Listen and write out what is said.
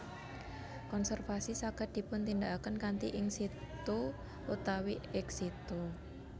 Konservasi saged dipuntindakaken kanthi in situ utawi ex situ